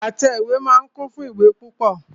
Àtẹ ìwé náà kún fún ìwé púpọ.